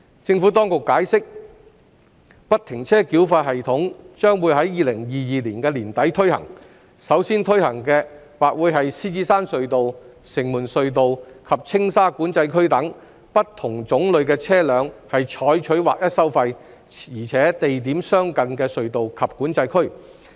政府當局解釋，不停車繳費系統將於2022年年底推行，首先推行的或會是獅子山隧道、城門隧道及青沙管制區等對不同種類的車輛採取劃一收費、且地點相近的隧道及管制區。